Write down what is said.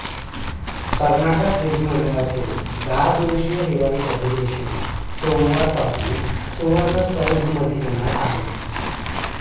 कर्नाटक विधिमंडळाचे दहा दिवशीय हिवाळी अधिवेशन सोमवारपासून सुवर्णसौधमध्ये होणार आहे